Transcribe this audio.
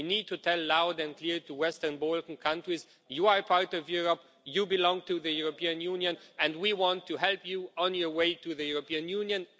We need to say loud and clear to Western Balkan countries, you are part of Europe, you belong to the European Union, and we want to help you on your way to the European Union'.